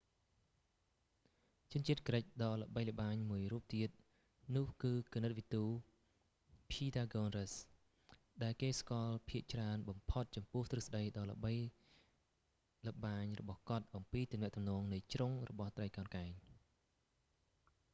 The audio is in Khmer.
ជនជាតិក្រិកដ៏ល្បីល្បាញមួយរួបទៀតនោះគឺគណិតវិទ ភីតាហ្គូនរ៉ាស៍pythagoras,ដែលគេស្គាល់ភាគច្រើនបំផុតចំពោះទ្រឹស្តីដ៏ល្បីល្បាញរបស់គាត់អំពីទំនាក់ទំនងនៃជ្រុងរបស់ត្រីកោណកែង។